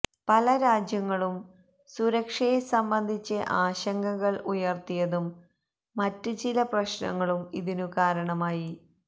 പല രാജ്യങ്ങളും സുരക്ഷയെ സംബന്ധിച്ച് ആശങ്കകൾ ഉയർത്തിയതും മറ്റ് ചില പ്രശ്നങ്ങളും ഇതിനു കാരണമായി